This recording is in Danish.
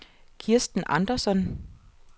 Kirsten Andersson